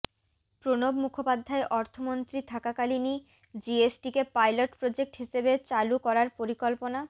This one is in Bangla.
প্রণব মুখোপাধ্যায় অর্থমন্ত্রী থাকাকালীনই জিএসটিকে পাইলট প্রোজেক্ট হিসেবে চালু করার পরিকল্পনা